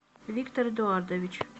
виктор эдуардович